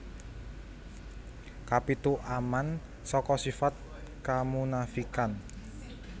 Kapitu Aman saka sifat kamunafikan